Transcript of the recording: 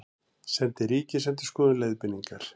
Sendi Ríkisendurskoðun leiðbeiningar